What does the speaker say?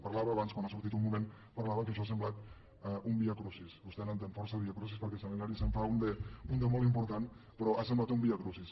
parlava abans quan ha sortit un moment parlava que això ha semblat un viacrucis vostè hi entén força en viacrucis perquè a sant hilari se’n fa un de molt important però ha semblat un viacrucis